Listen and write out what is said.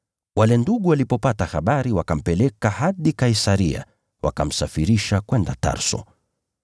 Wale ndugu walipopata habari wakampeleka hadi Kaisaria, wakamsafirisha kwenda Tarso.